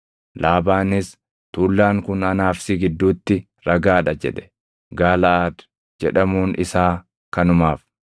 Laabaanis, “Tuullaan kun anaa fi si gidduutti ragaa dha” jedhe. Gaalaʼaad jedhamuun isaa kanumaaf.